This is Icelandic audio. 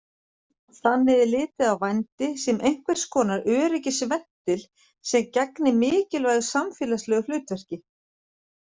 Þannig er litið á vændi sem einhvers konar öryggisventil sem gegni mikilvægu samfélagslegu hlutverki.